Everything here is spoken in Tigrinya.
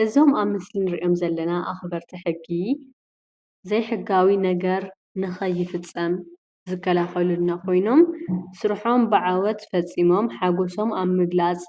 እዞም ኣብ ምስሊ ንሪኦም ዘለና ኣኽበርቲ ሕጊ ዘይሕጋዊ ነገር ንከይፍፀም ዝከላኸሉልና ኮይኖም ስርሖም ብዓወት ፈፂሞም ሓጎሶም ኣብ ምግላፅ